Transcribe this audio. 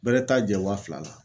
Bɛrɛ t'a jɛ wa fila la.